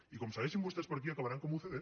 i com segue ixin vostès per aquí acabaran com ucd